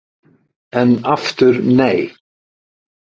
En aftur nei!